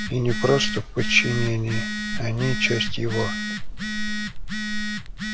и не просто в подчинении они часть его